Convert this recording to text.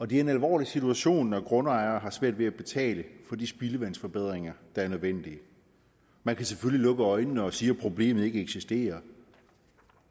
det er en alvorlig situation når grundejere har svært ved at betale for de spildevandsforbedringer der er nødvendige man kan selvfølgelig lukke øjnene og sige at problemet ikke eksisterer